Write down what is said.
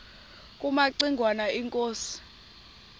kumaci ngwana inkosi